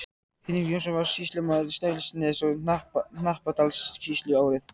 Hinrik Jónsson varð sýslumaður Snæfellsness- og Hnappadalssýslu árið